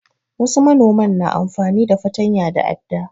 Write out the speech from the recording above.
Wasu manoman na amfani da fatanya da adda.